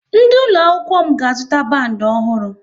Ndị ụlọ akwụkwọ m ga-azụta bandi ọhụrụ